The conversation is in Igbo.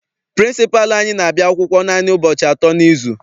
Pịrịnsịpalụ anyị n'abia akwụkwọ naanị ụbọchị atọ n'izu.